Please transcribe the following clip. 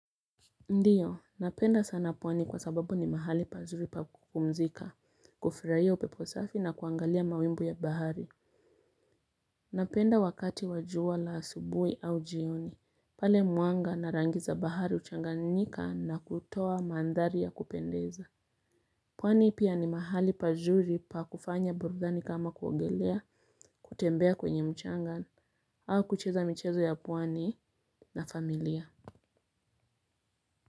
Ndiyo, napenda sana pwani kwa sababu ni mahali pazuri pa kupumzika, kufirahia upeposafi na kuangalia mawimbi ya bahari. Napenda wakati wajua la asubui au jioni, pale muanga narangiza bahari uchanganyika na kutoa mandhari ya kupendeza. Pwani pia ni mahali pazuri pa kufanya burudhani kama kuogelea, kutembea kwenye mchanga, au kucheza michezo ya pwani na familia.